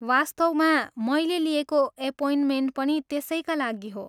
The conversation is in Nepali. वास्तवमा, मैले लिएको एपोइन्टमेन्ट पनि त्यसैका लागि हो।